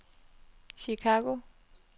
Chicago